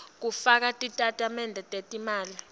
kufaka titatimende tetimali